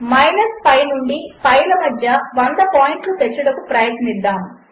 మనము pi నుండి pi లమధ్య 100 పాయింట్లుతెచ్చుటకుప్రయత్నిద్దాము